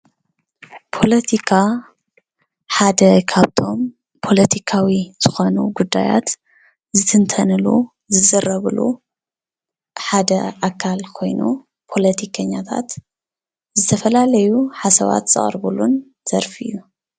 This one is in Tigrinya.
ፖለትካ ሓደ ካብቶም ፖለትካዊ ዝኾኑ ጉዳይት ዝትንተነሉ ፣ ዝዝረብሉ ሐደ ኣካል ኮይኑ ፖለቲከኛታት ዝተፋላለዩ ሓሳባት ዘቅረቡሉን ዘርፊ እዩ፡፡